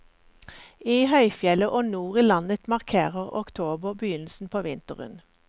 I høyfjellet og nord i landet markerer oktober begynnelsen på vinteren.